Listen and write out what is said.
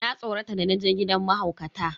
Na tsorata da naje gidan mahaukata.